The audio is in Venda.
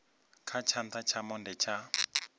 kha tshana tsha monde tsha